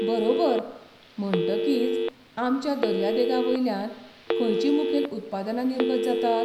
बरोबर! म्हणटकीच आमच्या दर्यादेगांवयल्यान खंयचीं मुखेल उत्पादनां निर्गत जातात?